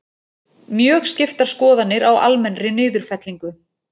Mjög skiptar skoðanir á almennri niðurfellingu